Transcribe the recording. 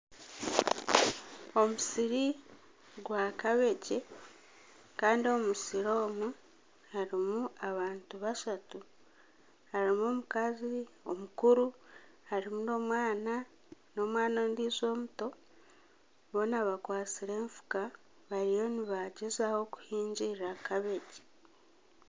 Omusiri gwakabegi Kandi omu musiri omu harimu abantu bashatu. Harimu omukazi omukuru, harimu n'omwana n'omwana ondijo omuto. Boona bakwatsire efuka bariyo nibagyezaho kuhingirira kabegi.